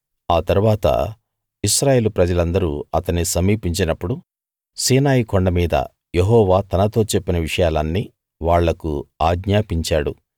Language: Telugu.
అ తరువాత ఇశ్రాయేలు ప్రజలందరూ అతన్ని సమీపించినప్పుడు సీనాయి కొండ మీద యెహోవా తనతో చెప్పిన విషయాలన్నీ వాళ్లకు ఆజ్ఞాపించాడు